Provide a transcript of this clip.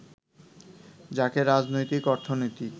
যাকে রাজনৈতিক অর্থনীতি